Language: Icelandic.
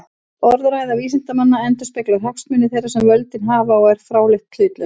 Orðræða vísindanna endurspeglar hagsmuni þeirra sem völdin hafa og er fráleitt hlutlaus.